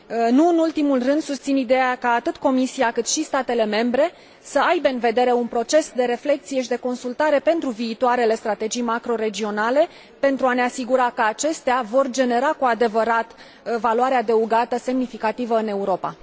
Nu în ultimul rând, susțin ideea ca atât Comisia, cât și statele membre să aibă în vedere un proces de reflecție și de consultare pentru viitoarele strategii macroregionale, pentru a ne asigura că acestea vor genera cu adevărat valoare adăugată semnificativă în Europa.